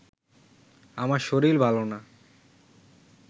আমার শরীর ভালো না